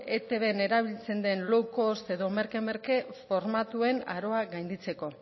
etbn erabiltzen den low cost edo merke merke formatuen aroa gainditzeko